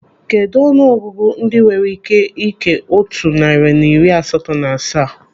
Kedụ ọnụ ọgụgụ ndị enwere ị́ké ị́kè otu narị na iri asatọ na asaa?